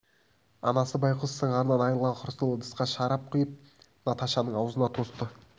анасы байғұс сыңарынан айрылған хрусталь ыдысқа шарап құйып наташаның аузына тосты